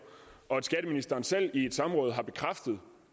og at skatteministeren selv i et samråd har bekræftet